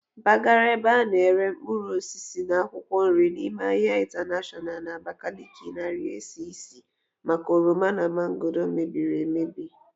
Mpagara ebe ana ere mkpuruosisi na akwụkwọ nri n'ime ahia intanashọnal na Abakaliki narii esi isi maka oroma na mangooro mebiri emebi.